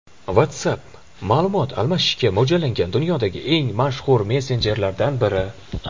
WhatsApp ma’lumot almashishga mo‘ljallangan dunyodagi eng mashhur messenjerlardan biri.